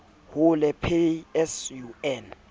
hule pay as you earn